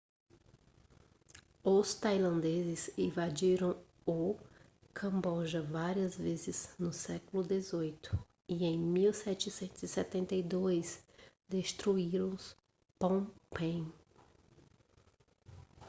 os tailandeses invadiram o camboja várias vezes no século 18 e em 1772 destruíram phnom phen